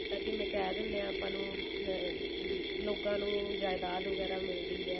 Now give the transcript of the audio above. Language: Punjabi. ਜਿਵੇਂ ਆਪਾਂ ਕਿਹ ਦਿੰਨੇ ਆ ਆਪਾਂ ਨੂੰ ਵੀ ਲੋਕਾਂ ਨੂੰ ਜਾਇਦਾਦ ਵਗੇਰਾ ਮਿਲਦੀ ਹੈ